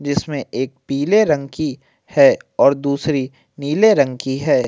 जिसमें एक पीले रंग की है और दूसरी नीले रंग की है।